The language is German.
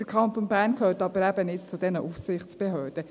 Der Kanton Bern gehört aber eben nicht zu diesen Aufsichtsbehörden.